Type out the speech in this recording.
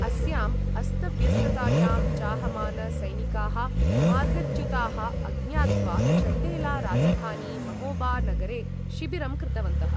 अस्याम् अस्तव्यस्ततायां, चाहमान सैनिकाः मार्गच्युताः, अज्ञात्वा चण्डेला राजधानी महोबा नगरे शिबिरं कृतवन्तः।